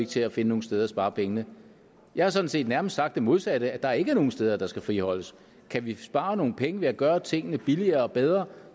til at finde nogen steder at spare pengene jeg har sådan set nærmest sagt det modsatte nemlig at der ikke er nogen steder der skal friholdes kan vi spare nogle penge ved at gøre tingene billigere og bedre